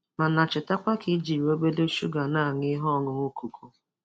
Mana cheta kwa ka i jiri obere shuga na-aṅu ihe ọṅụṅụ koko.